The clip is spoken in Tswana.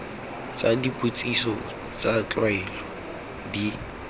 tsa dipotsiso tsa tlwaelo di